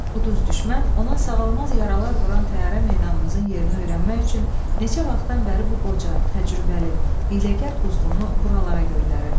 Quduz düşmən ona sağalmaz yaralar vuran təyyarə meydanımızın yerini öyrənmək üçün neçə vaxtdan bəri bu qoca, təcrübəli, hiyləgər quzğunu buralara göndərirdi.